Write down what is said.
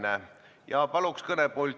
Taavi Rõivas, palun!